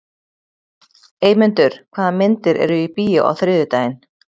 Eymundur, hvaða myndir eru í bíó á þriðjudaginn?